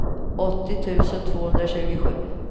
åttio tusen tvåhundratjugosju